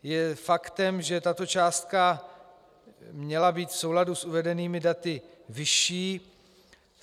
Je faktem, že tato částka měla být v souladu s uvedenými daty vyšší.